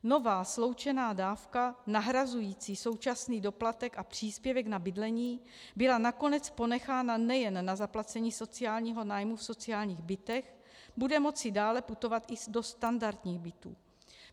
Nová sloučená dávka nahrazující současný doplatek a příspěvek na bydlení byla nakonec ponechána nejen na zaplacení sociálního nájmu v sociálních bytech, bude moci dále putovat i do standardních bytů.